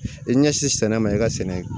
I ɲɛsin sɛnɛ ma i ka sɛnɛ